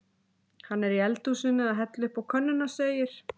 Hann er í eldhúsinu að hella uppá könnuna segir